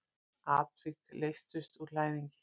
Atvik leystust úr læðingi.